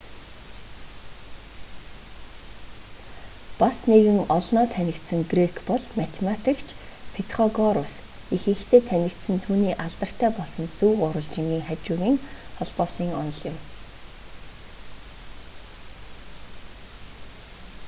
бас нэгэн олноо танигдсан грек бол математикч петхогорус ихэнхдээ танигдсан нь түүний алдартай болсон зөв гурвалжингын хажуугын холбоосын онол юм